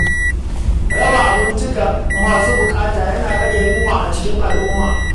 Raba abinci ga masu bukata yana rage yunwa a cikin al’umma.